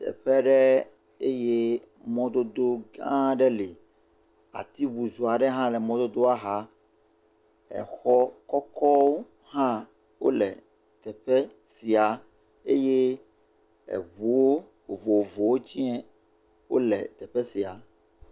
Teƒe ɖe eye mɔdodo gã aɖe hã le, ati butuu aɖewo hã le mɔdodoa xa, exɔ kɔkɔwo hã wole teƒe sia eye eŋuwo vovovowo tsɛ wole teƒe sia.